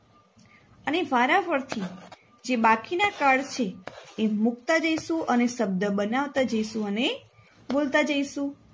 અને વાર ફરથી જે બાકીન card છે એ મુકતા જઈશું અને શબ્દ બનાવતા જઈશું અને બોલતા જઈશું.